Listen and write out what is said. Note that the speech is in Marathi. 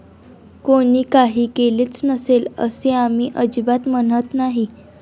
कोणी काही केलेच नसेल, असे आम्ही अजिबात म्हणत नाही.